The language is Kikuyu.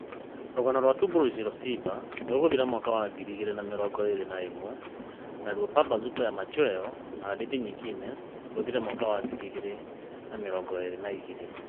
Rũgano, 'Tumbo Lisoloshiba ' rũgũthira mwaka wa ngiri igĩrĩ na mĩrongo ĩrĩ na ĩmwe naruo 'Pambazuko ya Machweo na Hadithi Nyingine ' rũthire mwaka wa ngiri igĩrĩ na mĩrongo ĩrĩ na igĩrĩ.